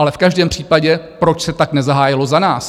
Ale v každém případě, proč se tak nezahájilo za nás?